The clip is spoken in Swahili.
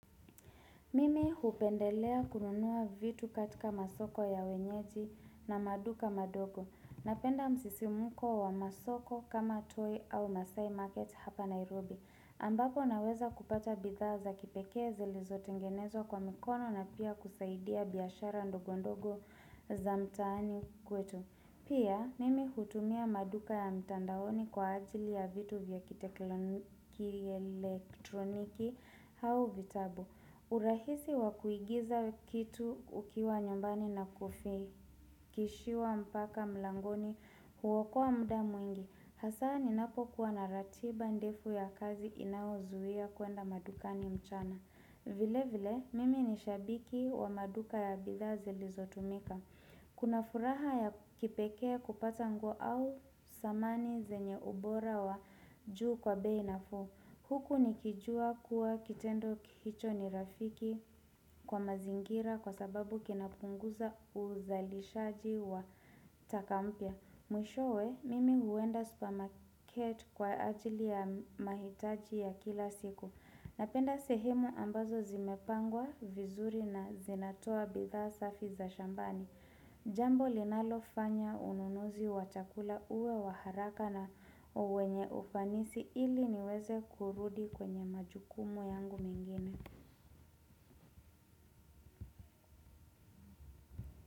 Mimi hupendelea kununua vitu katika masoko ya wenyeji na maduka madogo. Napenda msisimuko wa masoko kama Toi au Maasai Market hapa Nairobi ambako naweza kupata bidhaa za kipekee zilizotengenezwa kwa mikono na pia kusaidia biashara ndogondogo za mtaani kwetu. Pia mimi hutumia maduka ya mtandaoni kwa ajili ya vitu vya kielektroniki au vitabu. Urahisi wa kuigiza kitu ukiwa nyumbani na kufi Kishiwa mpaka mlangoni huokoa muda mwingi. Hasa ninapokuwa na ratiba ndefu ya kazi inaozuia kuenda madukani mchana Vilevile mimi ni shabiki wa maduka ya bidhaa zilizotumika. Kuna furaha ya kipekee kupata nguo au samani zenye ubora wa juu kwa bei nafuu. Huku nikijua kuwa kitendo hicho ni rafiki kwa mazingira kwa sababu kinapunguza uzalishaji wa taka mpya. Mwishowe, mimi huenda supermarket kwa ajili ya mahitaji ya kila siku. Napenda sehemu ambazo zimepangwa vizuri na zinatoa bidhaa safi za shambani. Jambo linalofanya ununuzi wa chakula uwe wa haraka na wenye ufanisi ili niweze kurudi kwenye majukumu yangu mengine.